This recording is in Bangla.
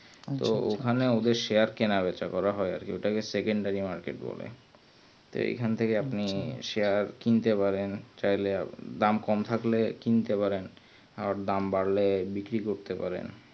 তো ওই খানে ওদের share কেনা রয়েছে ওটাকে secondary market বলে তো এখন থেকে আপনি share কিনতে পারেন চাইলে দাম কম থাকলে কিনতে পারেন আর দাম বাড়লে বিক্রি করতে পারেন